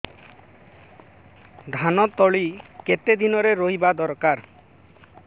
ଧାନ ତଳି କେତେ ଦିନରେ ରୋଈବା ଦରକାର